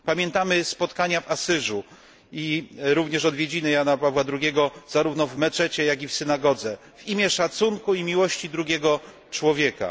Pamiętamy spotkania w Asyżu i również odwiedziny Jana Pawła II zarówno w meczecie, jak i w synagodze, w imię szacunku i miłości drugiego człowieka.